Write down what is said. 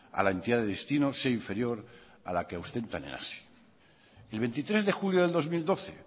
a la entidad de destino sea inferior a la que en hazi el veintitrés de julio de dos mil doce